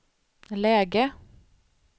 läge